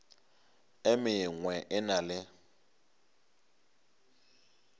e mengwe e na le